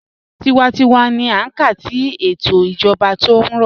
Tíwántíwá ní à ká sí ètò ìjọba tí ó rọ̀.